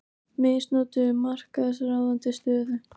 Misnotuðu markaðsráðandi stöðu